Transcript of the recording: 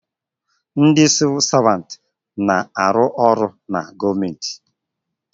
Ndị Sịvụ Savantị na arụ ọrụ na gọọmenti